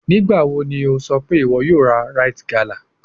Nigbawo ni o sọ pe iwọ yoo ra rite gala?